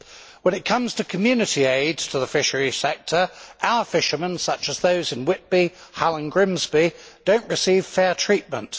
When it comes to Community aid to the fishery sector, our fishermen, such as those in Whitby, Hull and Grimsby, do not receive fair treatment.